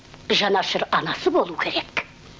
жанашыр анасы болу керек